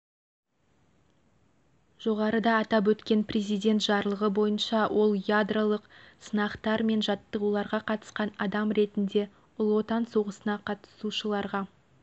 жоғарыда атап өткен президент жарлығы бойынша ол ядролық сынақтар мен жаттығуларға қатысқан адам ретінде ұлы отан соғысына қатысушыларға